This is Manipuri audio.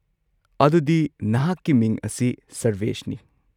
ꯑꯗꯨꯗꯤ ꯅꯍꯥꯛꯀꯤ ꯃꯤꯡ ꯑꯁꯤ ꯁꯔꯚꯦꯁꯅꯤ꯫